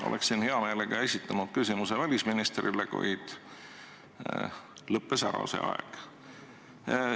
Oleksin hea meelega esitanud küsimuse välisministrile, kuid see aeg lõppes.